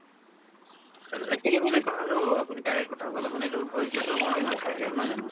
ing actually মানে কথাতো আপুনি correct কথা ক'লে মানে এইটো ধৈৰ্য্যতো আমাৰ নাথাকে নহয় জানো